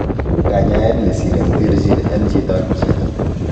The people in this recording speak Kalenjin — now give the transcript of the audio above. Kanyaet nesire koterchin en chito ak chito.